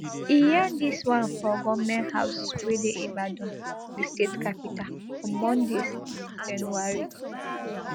e yarn dis one for goment house wey dey ibadan di state capital on monday six january